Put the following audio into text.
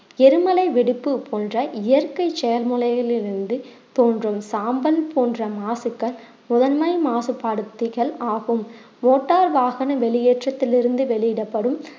எரிமலை வெடிப்பு போன்ற இயற்கை தோன்றும் சாம்பல் போன்ற மாசுக்கள் முதன்மை மாசுபடுத்திகள் ஆகும் motor வாகன வெளியேற்றத்திலிருந்து வெளியிடப்படும்